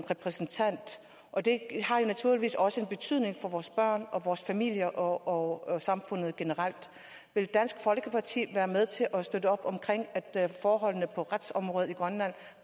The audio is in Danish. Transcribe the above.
repræsentant og det har naturligvis også betydning for vores børn og vores familier og og samfundet generelt vil dansk folkeparti være med til at støtte op omkring at forholdene på retsområdet i grønland